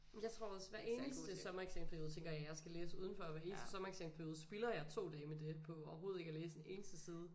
Jamen jeg tror også hver eneste sommereksamensperiode tænker jeg jeg skal læse udenfor og hver eneste sommereksamensperiode spilder jeg 2 dage med det på overhovedet ikke at læse en eneste side